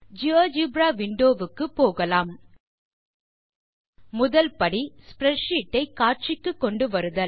GeoGebra windowக்கு போகலாம் முதல் படி ஸ்ப்ரெட்ஷீட் ஐ காட்சிக்கு கொண்டு வருதல்